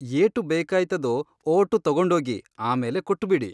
ಏಟು ಬೇಕಾಯ್ತದೋ ಓಟು ತಕೊಂಡೋಗಿ ಆಮೇಲೆ ಕೊಟ್ಟುಬಿಡಿ.